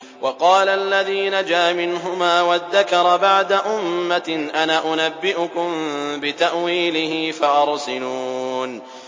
وَقَالَ الَّذِي نَجَا مِنْهُمَا وَادَّكَرَ بَعْدَ أُمَّةٍ أَنَا أُنَبِّئُكُم بِتَأْوِيلِهِ فَأَرْسِلُونِ